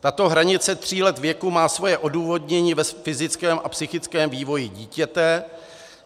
Tato hranice tří let věku má svoje odůvodnění ve fyzickém a psychickém vývoji dítěte.